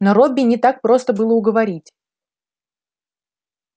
но робби не так просто было уговорить